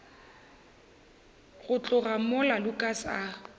go tloga mola lukas a